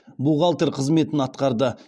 бухалтер қызметін атқарды